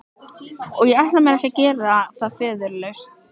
Og ég ætla mér ekki að gera það föðurlaust.